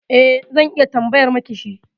E, zan iya tambayar miki shi.